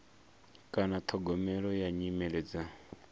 kana ṱhogomelo ya nyimele dza